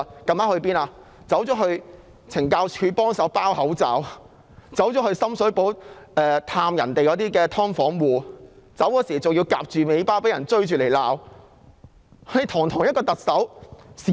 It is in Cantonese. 她到了懲教署協助包口罩，又前去深水埗探訪"劏房戶"，離去時更被人追罵，落荒而逃。